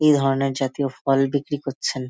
এই ধরণের জাতীয় ফল বিক্রি করছেন।